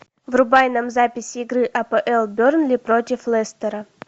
врубай нам запись игры апл бернли против лестера